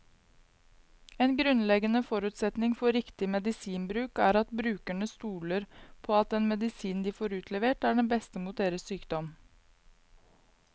En grunnleggende forutsetning for riktig medisinbruk er at brukerne stoler på at den medisinen de får utlevert, er den beste mot deres sykdom.